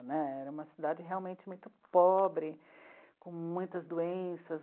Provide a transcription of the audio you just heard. Né, era uma cidade realmente muito pobre, com muitas doenças.